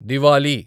Diwali